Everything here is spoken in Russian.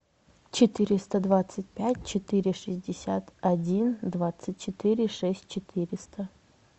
четыреста двадцать пять четыре шестьдесят один двадцать четыре шесть четыреста